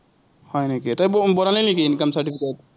হয় নেকি, তই বনালি নেকি income certificate?